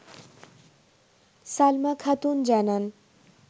সালমা খাতুন জানান